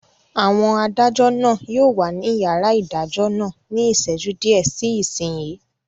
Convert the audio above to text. Àwọn adájọ́ náà yóò wà ní yàrá ìdájọ́ náà ní ìṣẹ́jú díẹ̀ sí ìsinyìí